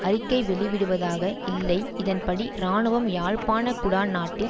அறிக்கை வெளிவிடுவதாக இல்லை இதன்படி இராணுவம் யாழ்ப்பாண குடாநாட்டில்